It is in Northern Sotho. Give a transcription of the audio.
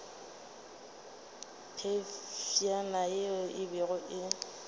phefšana ye e bego e